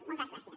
motes gràcies